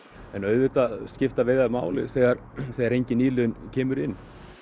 en auðvitað skipta veiðar máli þegar þegar engin nýliðun kemur inn